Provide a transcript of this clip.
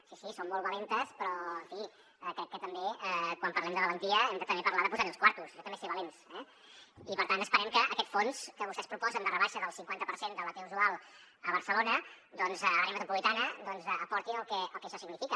sí sí som molt valentes però en fi crec que també quan parlem de valentia hem de també parlar de posar hi els quartos això també és ser valents eh i per tant esperem que aquest fons que vostès proposen de rebaixa del cinquanta per cent de la t usual a barcelona doncs a l’àrea metropolitana aportin el que això significa